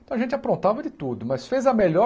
Então a gente aprontava de tudo, mas fez a melhor